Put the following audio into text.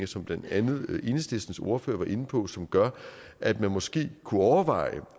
som blandt andet enhedslistens ordfører var inde på problemstillinger som gør at man måske kunne overveje